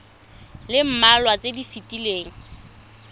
le mmalwa tse di fetileng